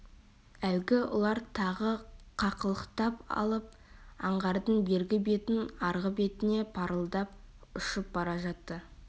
әлгі ұлар тағы қақылықтап алып аңғардың бергі бетінен арғы бетіне парылдап ұшып бара жатты